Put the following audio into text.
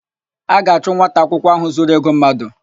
A ga-achụ nwata akwụkwọ áhụ̀ zuru ego mmadụ.